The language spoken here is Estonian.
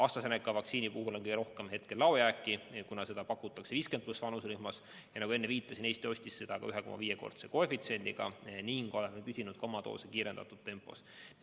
AstraZeneca vaktsiini puhul on kõige rohkem laojääki, kuna seda pakutakse 50+ vanuserühmas, ja nagu ma enne viitasin, Eesti ostis seda 1,5-kordse koefitsiendiga ning oleme küsinud oma doose kiirendatud tempos.